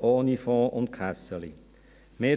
ohne Fonds und «Kässeli» präsentieren.